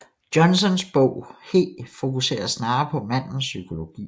Johnsons bog He fokuserer snarere på mandens psykologi